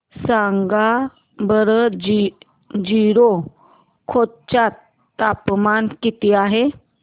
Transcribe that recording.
सांगा बरं जीरो खोर्यात तापमान किती आहे